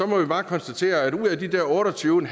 må man bare konstatere at ud af de der otte og tyve